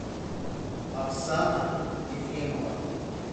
оксана ефремова